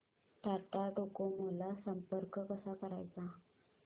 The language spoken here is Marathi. टाटा डोकोमो ला संपर्क कसा करायचा